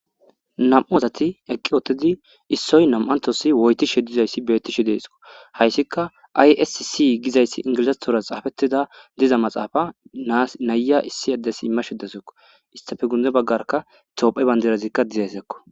Nam7uazati eqqi ootidi issoy nam7antosi woytishe dizayssi beettishe deesko hayssika ayssi gizayssi ingilizastora xaafettida diza maxaafa nayya issi addes imma shiddesekko istafe gunde baggarka toophe bandirazikka dizeysekko.